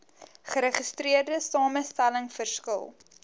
geregistreerde samestelling verskil